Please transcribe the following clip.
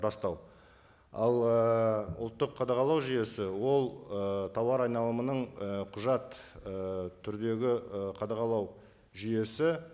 растау ал ыыы ұлттық қадағалау жүйесі ол ы тауар айналымының ы құжат ы түрдегі і қадағалау жүйесі